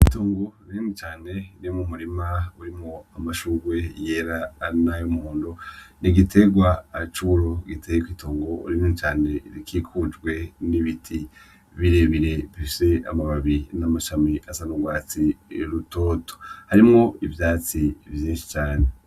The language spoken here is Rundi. Itongo rinini cane ririmwo umurima urimwo amashugwe yera na y'umuhondo, n'igiterwa naco giteye kw'itongo rinini cane rikikujwe n'ibiti birebire bifise amababi n'amashami asa n'urwatsi rutoto, harimwo ivyatsi vyinshi cane.